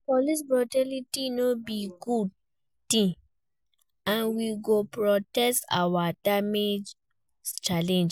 Police brutality no be good ting, and we go protest and demand change.